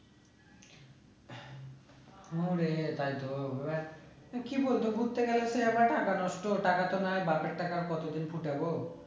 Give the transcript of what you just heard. তাইতো তা কি বলছো ঘুরতে গেলে নষ্ট টাকা তো নয় বাপের টাকা আর কত দিন ফুটাবো